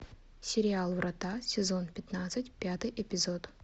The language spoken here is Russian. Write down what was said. сериал врата сезон пятнадцать пятый эпизод